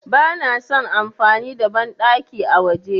Bana son amfani da banɗaki a waje.